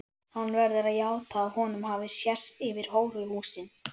Hann verður að játa að honum hafi sést yfir hóruhúsin.